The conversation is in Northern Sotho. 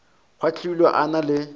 a kgwahlile a na le